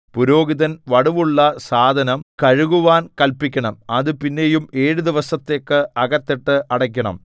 പുരോഹിതൻ വടുവുള്ള സാധനം കഴുകുവാൻ കല്പിക്കണം അത് പിന്നെയും ഏഴു ദിവസത്തേക്ക് അകത്തിട്ട് അടയ്ക്കണം